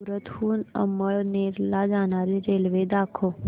सूरत हून अमळनेर ला जाणारी रेल्वे दाखव